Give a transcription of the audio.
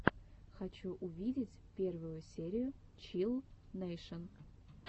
хочу увидеть первую серию чилл нэйшен